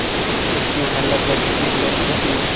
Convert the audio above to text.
उसकी उम्र लगभग इक्कीस वर्ष की थी